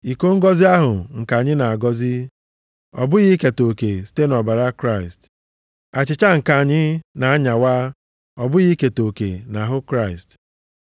Iko ngọzị ahụ nke anyị na-agọzi, ọ bụghị iketa oke site nʼọbara Kraịst? Achịcha nke anyị na-anyawa, ọ bụghị iketa oke nʼahụ Kraịst?